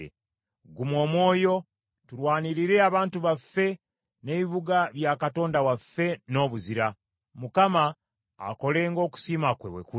Guma omwoyo, tulwanirire abantu baffe n’ebibuga bya Katonda waffe n’obuzira. Mukama akole ng’okusiima kwe bwe kuli.”